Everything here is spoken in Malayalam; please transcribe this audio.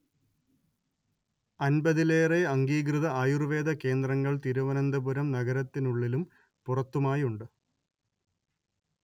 അൻപതിലേറെ അംഗീകൃത ആയുർവേദ കേന്ദ്രങ്ങൾ തിരുവനന്തപുരം നഗരത്തിനുള്ളിലും പുറത്തുമായുണ്ട്